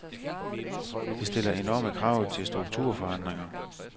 Det stiller enorme krav til strukturforandringer.